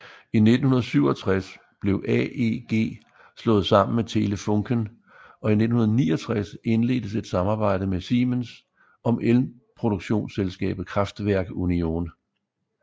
I 1967 blev AEG slået sammen med Telefunken og i 1969 indledtes et samarbejde med Siemens om elproduktionsselskabet Kraftwerk Union